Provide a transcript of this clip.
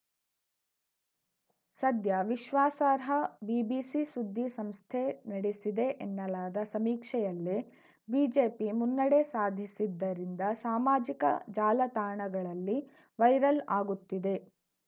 ಸದ್ಯ ವಿಶ್ವಾಸಾರ್ಹ ಬಿಬಿಸಿ ಸುದ್ದಿ ಸಂಸ್ಥೆ ನಡೆಸಿದೆ ಎನ್ನಲಾದ ಸಮೀಕ್ಷೆಯಲ್ಲೇ ಬಿಜೆಪಿ ಮುನ್ನಡೆ ಸಾಧಿಸಿದ್ದರಿಂದ ಸಾಮಾಜಿಕ ಜಾಲತಾಣಗಳಲ್ಲಿ ವೈರಲ್‌ ಆಗುತ್ತಿದೆ